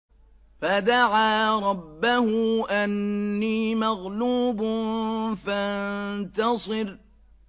فَدَعَا رَبَّهُ أَنِّي مَغْلُوبٌ فَانتَصِرْ